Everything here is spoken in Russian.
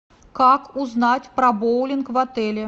как узнать про боулинг в отеле